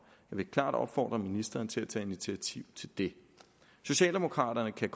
vil klart opfordre ministeren til at tage initiativ til det socialdemokraterne kan